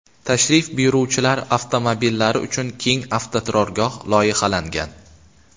Tashrif buyuruvchilar avtomobillari uchun keng avtoturargoh loyihalangan.